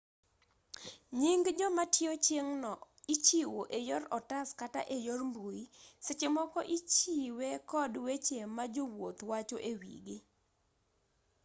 nying jomatiyo chieng'no ichiwo eyor otas kata eyor mbui sechemoko ichiwe kod weche majowuoth wacho ewigii